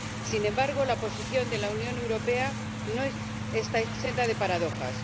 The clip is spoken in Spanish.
Sin embargo, la posición de la Unión Europea no está exenta de paradojas.